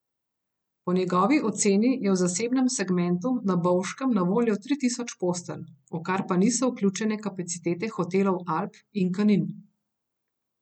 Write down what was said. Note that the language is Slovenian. Po njegovi oceni je v zasebnem segmentu na Bovškem na voljo tri tisoč postelj, v kar pa niso vključene kapacitete hotelov Alp in Kanin.